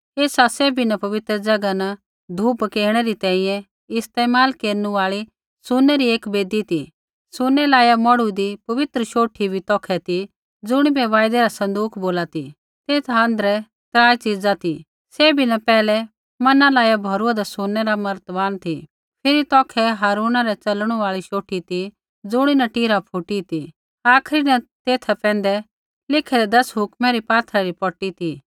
ऐसा सैभी न पवित्र ज़ैगा न धूप पकेणै री तैंईंयैं इस्तेमाल केरनु आल़ी सुनै री एक वेदी ती सुनै लाइआ मेढ़ुईदी पवित्र शौठी बी तौखै ती ज़ुणिबै वायदै रा सँदूक बोला ती तेथा आँध्रै त्राई च़ीज़ा ती सैभी न पैहलै मन्ना लाइआ भौरूआन्दा सुनै रा मर्तबान ती फिरी तौखै हारून री च़लणु आल़ी शौठी ती ज़ुणीन टीरा फूटी ती आखरी न तेथा पैंधै लिखैदै दस हुक्मा री पात्थरा री पौटी ती